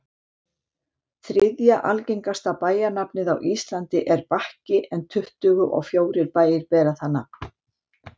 þriðja algengasta bæjarnafnið á íslandi er bakki en tuttugu og fjórir bæir bera það nafn